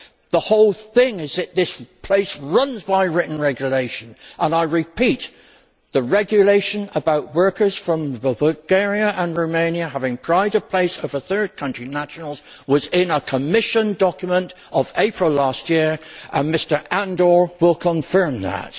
The whole point is that this place runs by written regulation, and I repeat, the regulation about workers from Bulgaria and Romania having pride of place over third country nationals was in a Commission document of April last year, and Mr Andor will confirm that.